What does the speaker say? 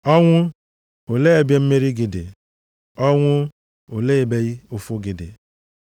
“Ọnwụ, olee ebe mmeri gị dị? Ọnwụ, olee ebe ihe ụfụ gị dị?” + 15:55 \+xt Hos 13:14\+xt*